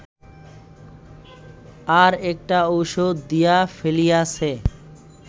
আর একটা ঔষধ দিয়া ফেলিয়াছে